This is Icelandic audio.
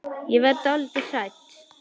Ég verð dálítið hrædd.